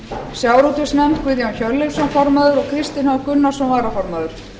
sjávarútvegsnefnd guðjón hjörleifsson formaður og kristinn h gunnarsson varaformaður